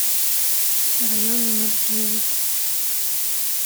район номер девять